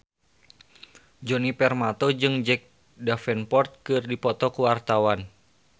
Djoni Permato jeung Jack Davenport keur dipoto ku wartawan